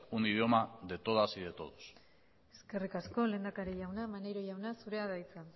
un idioma de todas y de todos eskerrik asko lehendakari jauna maneiro jauna zurea da hitza